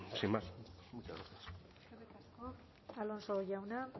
sin más muchas gracias eskerrik asko alonso jauna